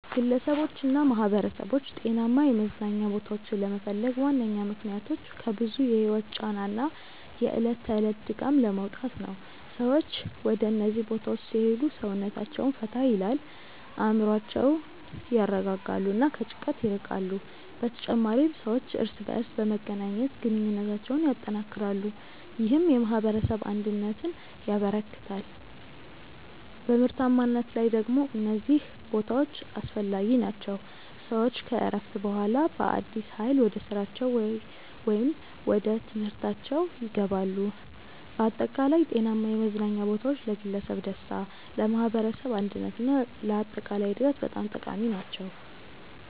ግለሰቦችና ማኅበረሰቦች ጤናማ የመዝናኛ ቦታዎችን ለመፈለግ ዋነኛ ምክንያቶች ከብዙ የህይወት ጫና እና የዕለት ተዕለት ድካም ለመውጣት ነው። ሰዎች ወደ እነዚህ ቦታዎች ሲሄዱ ሰውነታቸውን ፈታ ይላል፣ አእምሮአቸውን ያረጋጋሉ እና ከጭንቀት ይርቃሉ። በተጨማሪም ሰዎች እርስ በርስ በመገናኘት ግንኙነታቸውን ያጠናክራሉ፣ ይህም የማኅበረሰብ አንድነትን ያበረክታል። በምርታማነት ላይ ደግሞ እነዚህ ቦታዎች አስፈላጊ ናቸው፤ ሰዎች ከእረፍት በኋላ በአዲስ ኃይል ወደ ስራቸው ወይም ወደ ትምህርታችው ይገባሉ። በአጠቃላይ ጤናማ የመዝናኛ ቦታዎች ለግለሰብ ደስታ፣ ለማኅበረሰብ አንድነት እና ለአጠቃላይ እድገት በጣም ጠቃሚ ናቸው።